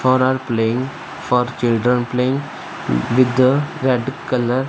all are playing for children playing with the red colour --